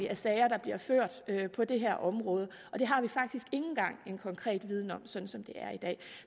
af sager på det her område det har vi faktisk ikke engang en konkret viden om som som det er i dag